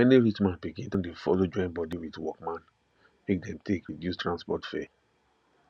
many rich man pikin don dey follow join body with workman make dem take reduce transport fare